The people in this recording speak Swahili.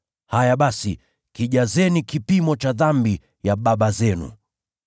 Haya basi, kijazeni kipimo cha dhambi ya baba zenu!